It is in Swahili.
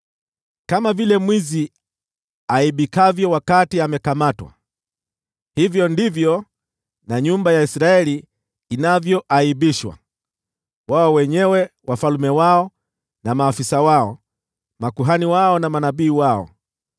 “Kama vile mwizi aaibikavyo wakati amekamatwa, hivyo ndivyo nyumba ya Israeli inavyoaibishwa: wao wenyewe, wafalme wao na maafisa wao, makuhani wao na manabii wao.